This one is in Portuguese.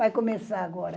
Vai começar agora.